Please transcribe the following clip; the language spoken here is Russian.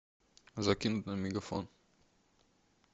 закинуть на мегафон